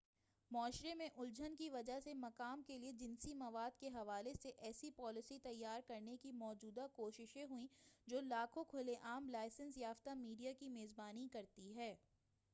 معاشرے میں الجھن کی وجہ سے مقام کے لئے جنسی مواد کے حوالے سے ایسی پالیسی تیار کرنے کی موجودہ کوششیں ہوئیں جو لاکھوں کھلے عام لائسنس یافتہ میڈیا کی میزبانی کرتی ہے